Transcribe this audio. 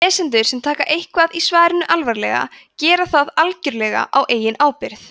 lesendur sem taka eitthvað í svarinu alvarlega gera það algjörlega á eigin ábyrgð